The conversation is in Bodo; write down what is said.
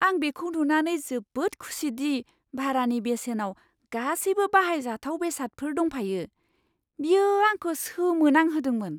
आं बेखौ नुनानै जोबोद खुसिदि भारानि बेसेनाव गासैबो बाहायजाथाव बेसादफोर दंफायो। बियो आंखौ सोमोनांहोदोंमोन!